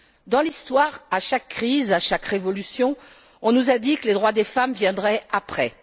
Dans l'histoire, à chaque crise, à chaque révolution, on nous a dit que les droits des femmes viendraient après.